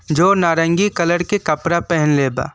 जो नारंगी कलर के कपड़ा पहीनले बा।